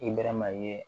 I bɛɛrɛ mayini ye